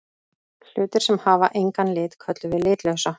Hlutir sem hafa engan lit köllum við litlausa.